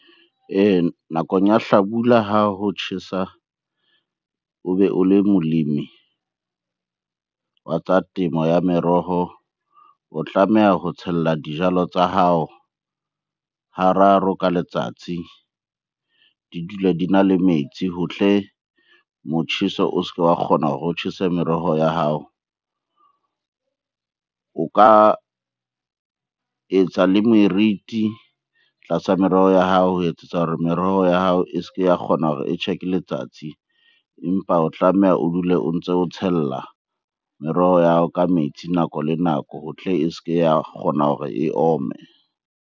Nakong ya hlabula ha ho tjhesa obe o le molemi wa tsa temo ya meroho. O tlameha ho tshella dijalo tsa hao hararo ka letsatsi di dule di na le metsi ho tle motjheso o se ke wa kgona hore o tjhese meroho ya hao. O ka etsa le meriti tlasa meroho ya hao ho etsetsa hore meroho ya hao e se ke ya kgona hore e tjhe ke letsatsi, empa o tlameha o dule o ntso o tshella meroho ya hao ka metsi nako le nako ho tle e se ke ya kgona hore e ome.